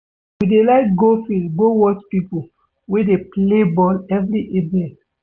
We dey like go field go watch pipo wey dey play ball every evening.